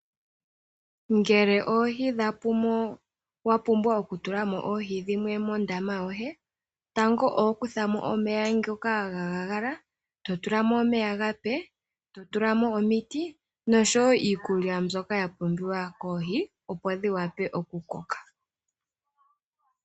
Ngele oohi dhapumo wapumbwa oku tula mo oohi dhimwe mondama yoye, tango oho kutha mo omeya ngoka galuudha, to tula mo omeya omape, to tula mo omiti noshowo iikulya mbyoka ya pumbiwa koohi opo dhiwape oku koka.